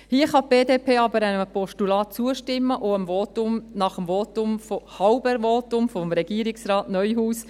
Hier kann die BDP aber einem Postulat zustimmen, auch nach dem Votum – halben Votum – von Regierungsrat Neuhaus.